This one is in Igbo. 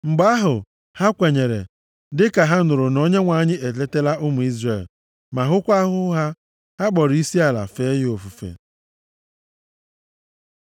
Mgbe ahụ, ha kwenyere; dịka ha nụrụ na Onyenwe anyị eletala ụmụ Izrel, ma hụkwa ahụhụ ha. Ha kpọrọ isiala fee ya ofufe.